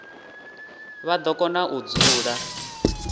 vha do kona u dzula